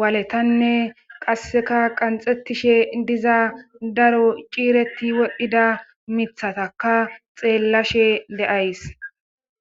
waaletanne qasseka qanxettishe diza daro ciireti wodhdhida miiththataka xeellashe de7ays.